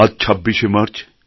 আজ ২৬শে মার্চ